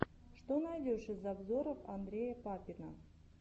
что найдешь из обзоров андрея папина